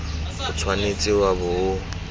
o tshwanetse wa bo o